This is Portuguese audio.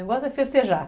O negócio é festejar.